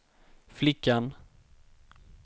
flickan